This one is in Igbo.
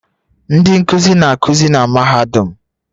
Ndị nkuzi na-akụzi na mahadum